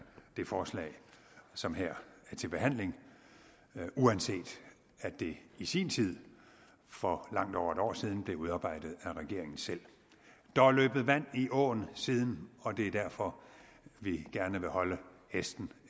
det forslag som her er til behandling uanset at det i sin tid for langt over et år siden blev udarbejdet af regeringen selv der er løbet vand i åen siden og det er derfor vi gerne vil holde hesten